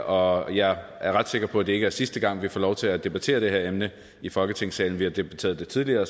og jeg er ret sikker på at det ikke sidste gang vi får lov til at debattere det her emne i folketingssalen vi har debatteret det tidligere